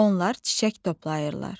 Onlar çiçək toplayırlar.